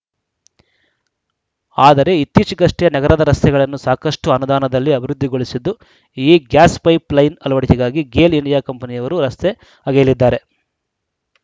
ಆದರೆ ಇತ್ತೀಚೆಗಷ್ಟೇ ನಗರದ ರಸ್ತೆಗಳನ್ನು ಸಾಕಷ್ಟುಅನುದಾನದಲ್ಲಿ ಅಭಿವೃದ್ಧಿಗೊಳಿಸಿದ್ದು ಈ ಗ್ಯಾಸ್‌ಪೈಪ್‌ ಲೈನ್‌ ಅಳವಡಿಕೆಗಾಗಿ ಗೇಲ್‌ ಇಂಡಿಯಾ ಕಂಪನಿಯವರು ರಸ್ತೆ ಅಗೆಯಲಿದ್ದಾರೆ